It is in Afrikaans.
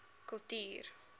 kultuur